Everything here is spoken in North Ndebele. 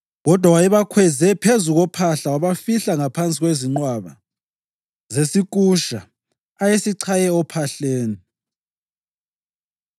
(Kodwa wayebakhweze phezu kophahla wabafihla ngaphansi kwezinqwaba zesikusha ayesichaye ophahleni).